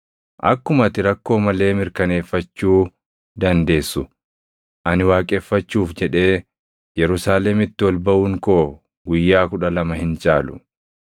Akkuma ati rakkoo malee mirkaneeffachuu dandeessu ani waaqeffachuuf jedhee Yerusaalemitti ol baʼuun koo guyyaa kudha lama hin caalu.